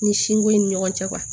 Ni sinko in ni ɲɔgɔn cɛ kuwa